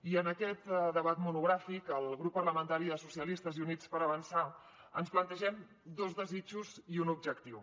i en aquest debat monogràfic el grup parlamentari socialistes i units per avançar ens plantegem dos desitjos i un objectiu